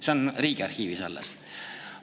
See on Riigiarhiivis alles.